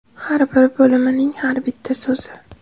Har bir bo‘limining har bitta so‘zi.